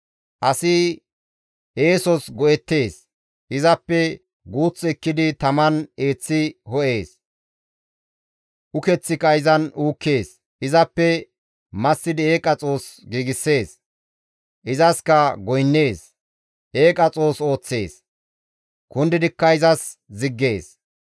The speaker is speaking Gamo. Asi eesos go7ettees; izappe guuth ekkidi taman eeththi ho7ees; ukeththika izan uukkees; izappe massidi eeqa xoos giigssees; izaskka goynnees. Eeqa xoos ooththees; kundidikka izas ziggees.